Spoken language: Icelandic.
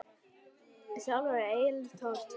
Sjálfur er Egill Árni tenór.